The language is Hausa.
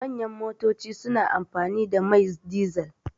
Manyan motoci suna amfani da mai dizal.